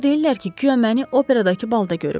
Onlar deyirlər ki, guya məni operadakı balda görüblər.